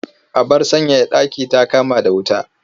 Abar sanyaya ɗaki ta kama da wuta.